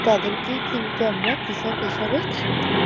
তাদেরকেই কিন্তু আমরা কৃষক হিসাবে চিনি